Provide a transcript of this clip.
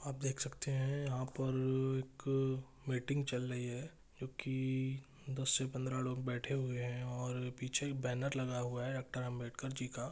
आप देख सकते है यहाँ पर एक मीटिंग चल रही है जो की दस से पंद्रह लोग बैठे हुए हैं और पीछे एक बैनर लगा हुआ है डॉक्टर अम्बेडकर जी का।